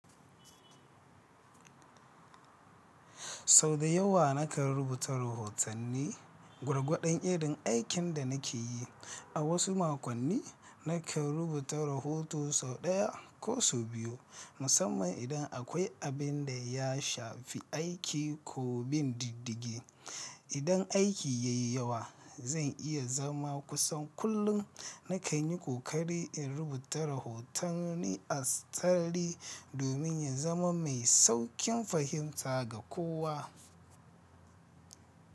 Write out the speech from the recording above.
Sau da yawa na kan rubuta rahotanni gwargwadon irin aikin da na ke yi. A wasu makonni, na kan rubuta rahoto sau ɗaya ko sau biyu, musamman idan akwai abin da ya shafi aiki ko bin diddigi. Idan aiki ya yi yawa, zan iya zama kusan kullum na kan yi ƙoƙari in rubuta rahotanni a tsari domin in zama mai sauƙin fahimta ga kowa.